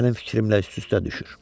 Mənim fikrimlə üst-üstə düşür.